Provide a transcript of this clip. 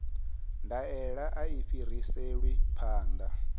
ndaela a i fhiriselwi phanḓa